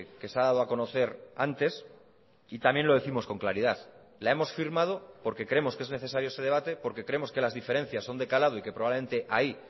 que se ha dado a conocer antes y también lo décimos con claridad la hemos firmado porque creemos que es necesario ese debate porque creemos que las diferencias son de calado y que probablemente ahí